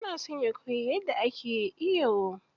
Yana son ya koyi yadda ake iyo.